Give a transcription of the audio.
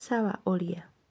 sawa ũria